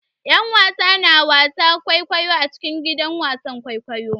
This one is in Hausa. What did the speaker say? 'Yan wasa na wasan kwaikwayo a cikin gidan wasan kwaikwayo.